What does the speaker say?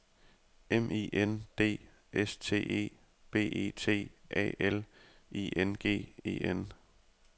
M I N D S T E B E T A L I N G E N